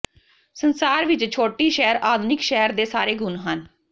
ਸੰਸਾਰ ਵਿੱਚ ਛੋਟੀ ਸ਼ਹਿਰ ਆਧੁਨਿਕ ਸ਼ਹਿਰ ਦੇ ਸਾਰੇ ਗੁਣ ਹਨ